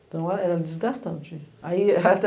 Então, era desgastante.